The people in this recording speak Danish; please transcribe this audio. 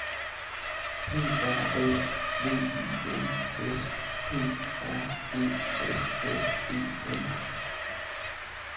P R O V I N S P R E S S E N